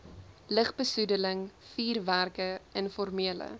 lugbesoedeling vuurwerke informele